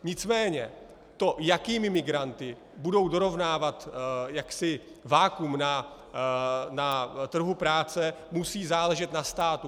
Nicméně to, jakými migranty budou dorovnávat vakuum na trhu práce, musí záležet na státu.